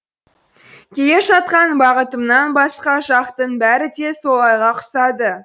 келе жатқан бағытымнан басқа жақтың бәрі де солайға ұқсады